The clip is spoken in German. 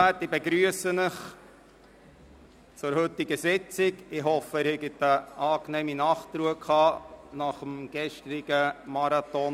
Ich begrüsse Sie zur heutigen Sitzung und hoffe, dass sie nach dem gestrigen Marathonwahltag eine angenehme Nachtruhe genossen haben.